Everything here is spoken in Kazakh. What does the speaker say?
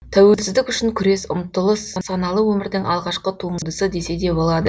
тәуелсіздік үшін күрес ұмтылыс саналы өмірдің алғашқы туындысы десе де болады